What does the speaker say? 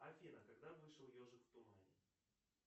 афина когда вышел ежик в тумане